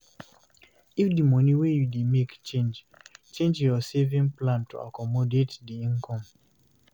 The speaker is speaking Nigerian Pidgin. If di money wey you dey make change, change your saving plan to accomodate di income